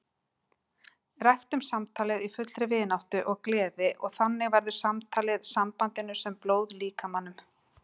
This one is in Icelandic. Ræktum samtalið í fullri vináttu og gleði og þannig verður samtalið sambandinu sem blóð líkamanum.